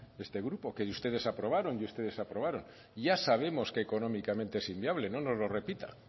este grupo que ustedes aprobaron y ustedes aprobaron ya sabemos que económicamente es inviable no nos lo repita